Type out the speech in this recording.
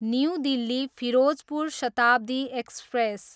new Delhi, Firozpur Shatabdi express